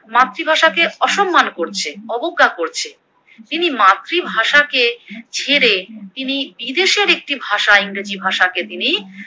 মাতৃভাষা কে অসন্মান করছেন অবজ্ঞা করছে। তিনি মাতৃভাষা কে ছেড়ে তিনি বিদেশের একটি ভাষা ইংরেজি ভাষাকে তিনি